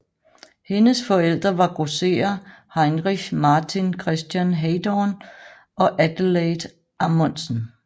Hendes forældre var grosserer Heinrich Martin Christian Heydorn og Adelaide Amondsen